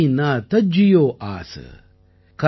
கரம் பந்தன் மே பந்த் ரஹியோ பல் கீ நா தஜ்ஜியோ ஆஸ்